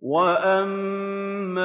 وَأَمَّا